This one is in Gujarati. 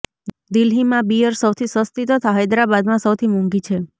દિલ્હીમાં બીયર સૌથી સસ્તી તથા હૈદરાબાદમાં સૌથી મોંઘી છે